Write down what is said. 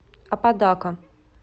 аподака